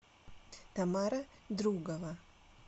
тамара другова